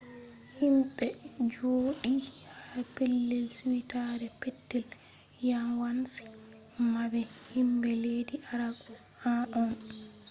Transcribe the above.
himɓe jooɗi ha pellel suitaare petel yawanci maɓɓe himɓe leddi arab en on